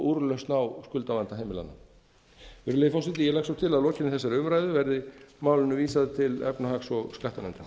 úrlausn á skuldavanda heimilanna virðulegi forseti ég legg svo til að lokinni þessari umræðu verði málinu vísað til efnahags og skattanefndar